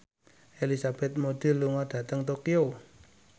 Elizabeth Moody lunga dhateng Tokyo